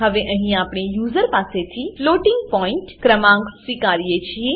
હવે અહીં આપણે યુજર પાસે થી ફ્લોટિંગ પોઇન્ટ ફ્લોટિંગ પોઈન્ટ ક્રમાંકો સ્વીકારીએ છીએ